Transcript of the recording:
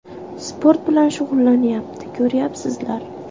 Sport bilan shug‘ullanyapti, ko‘ryapsizlar.